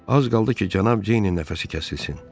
Az qaldı ki, cənab Ceynin nəfəsi kəsilsin.